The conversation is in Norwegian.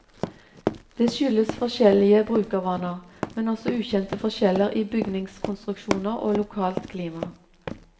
Det skyldes forskjellige brukervaner, men også ukjente forskjeller i bygningskonstruksjoner og lokalt klima.